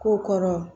Ko kɔrɔ